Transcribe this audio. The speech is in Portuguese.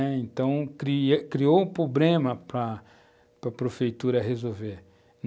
Então, cria criou um problema para para a prefeitura resolver.